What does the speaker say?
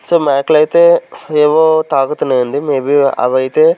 so మేకలు అయితే ఏవో తాగుతున్నాయి అండి మేబీ అవైతే--